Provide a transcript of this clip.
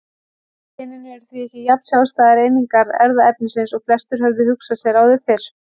Genin eru því ekki jafn sjálfstæðar einingar erfðaefnisins og flestir höfðu hugsað sér áður fyrr.